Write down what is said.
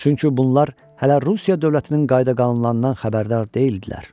Çünki bunlar hələ Rusiya dövlətinin qayda-qanunlarından xəbərdar deyildilər.